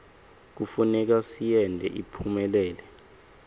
kufuneka siyente iphumelele